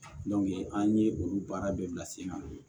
an ye olu baara bɛɛ bila sen kan